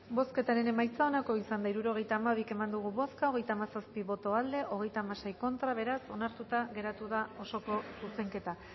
bozketaren emaitza onako izan da hirurogeita hamairu eman dugu bozka hogeita hamazazpi boto aldekoa treinta y seis contra beraz onartuta geratu da osoko zuzenketa